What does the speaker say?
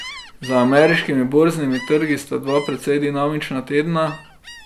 Za ameriškimi borznimi trgi sta dva precej dinamična tedna.